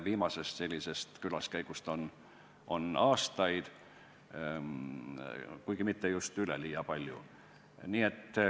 Viimasest sellisest külaskäigust on möödas aastaid, kuigi mitte just üleliia palju.